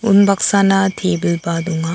unbaksana tebil ba donga.